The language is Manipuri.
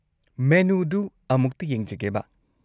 ꯃꯦꯅꯨꯗꯨ ꯑꯃꯨꯛꯇ ꯌꯦꯡꯖꯒꯦꯕ꯫